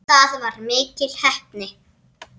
Það var mikil heppni